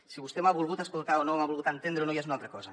si vostè m’ha volgut escoltar o m’ha volgut entendre o no ja és una altra cosa